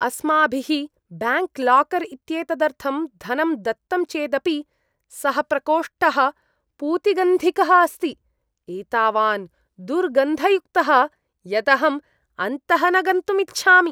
अस्माभिः bank locker इत्येतदर्थं धनं दत्तं चेदपि, सः प्रकोष्ठः पूतिगन्धिकः अस्ति, एतावान् दुर्गन्धयुक्तः यत् अहम् अन्तः न गन्तुम् इच्छामि।